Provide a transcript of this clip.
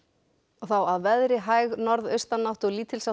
þá að veðri hæg norðaustanátt og